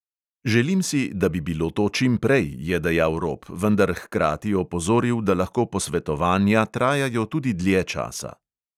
Želim si, da bi to bilo čim prej, je dejal rop, vendar hkrati opozoril, da lahko posvetovanja trajajo tudi dlje časa.